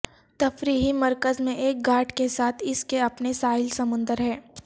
تفریحی مرکز میں ایک گھاٹ کے ساتھ اس کے اپنے ساحل سمندر ہے